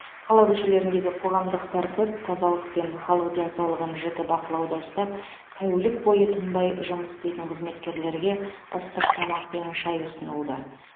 қала көшелеріндегі қоғамдық тәртіп тазалық пен халық денсаулығын жіті бақылауда ұстап тәулік бойы тынбай жұмыс істейтін қызметкерлерге ыстық тамақ пен шай ұсынылды